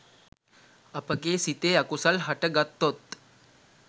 අපගේ සිතේ අකුසල් හටගත්තොත්